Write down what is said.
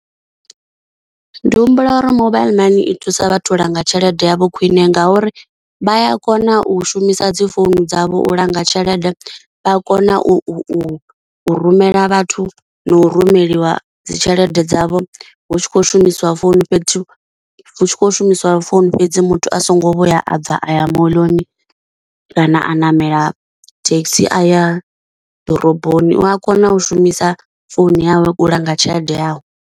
Ndi humbula uri mobile money i thusa vhathu u langa tshelede yavho khwine ngauri vha a kona u shumisa dzi founu dzavho u langa tshelede, vha kona u u u rumela vhathu na u rumeliwa dzi tshelede dzavho hu tshi khou shumisiwa founu fhethu hu tshi kho shumisa founu fhedzi muthu a songo vho ya abva aya moḽoni kana a namela thekhisi a ya ḓoroboni, u a kona u shumisa founu yawe u langa tshelede yawe.